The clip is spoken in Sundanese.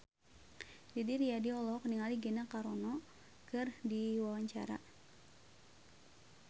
Didi Riyadi olohok ningali Gina Carano keur diwawancara